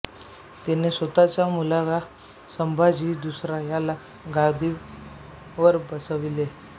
तिने स्वतःचा मुलगा संभाजी दुसरा याला गादीवर बसवले